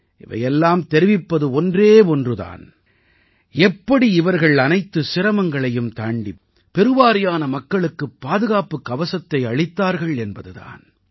இவை எல்லாம் தெரிவிப்பது ஒன்றே ஒன்று தான் எப்படி இவர்கள் அனைத்துச் சிரமங்களையும் தாண்டி பெருவாரியான மக்களுக்கு பாதுகாப்புக் கவசத்தை அளித்தார்கள் என்பது தான்